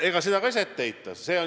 Ega seda ka ei saa ette heita.